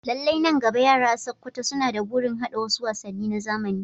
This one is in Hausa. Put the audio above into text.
Lallai, nan gaba, yara a Sakkwato suna da burin haɗa wasu wasanni na zamani.